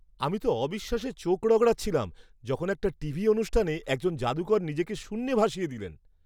আমি তো অবিশ্বাসে চোখ রগড়াচ্ছিলাম যখন একটা টিভি অনুষ্ঠানে একজন যাদুকর নিজেকে শূন্যে ভাসিয়ে দিলেন!